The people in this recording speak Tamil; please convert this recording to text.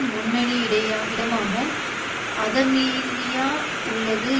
முன்னணி இடய இடமாக அதமீறியா உள்ளது